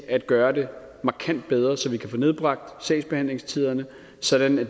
at gøre det markant bedre så vi kan få nedbragt sagsbehandlingstiderne sådan at